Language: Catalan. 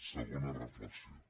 segona reflexió